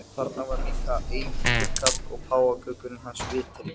Þarna var líka einhentur karl og páfagaukurinn hans vitri.